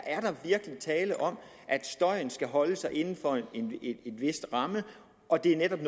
er der virkelig tale om at støjen skal holdes inden for en vis ramme og at det netop